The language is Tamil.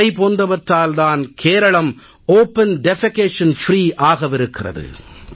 இவை போன்றவற்றால் தான் கேரளம் திறந்த வெளியில் மலஜலம் கழிக்கப்படாத மாநிலமாக ஆகவிருக்கிறது